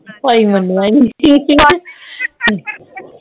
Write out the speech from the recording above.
ਭਾਈ ਮੰਨੀਆਂ ਨੀ